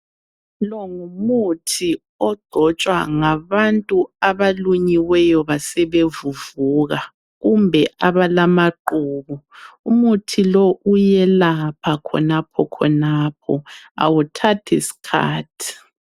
Longumuthi ogcotshwa ngabantu abalunyiweyo basebevuvuka kumbe abalamaqubu .Umuthi lowu uyelapha khonapho khonapho awuthathi sikhathi.